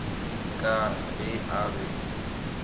ee ka ge a be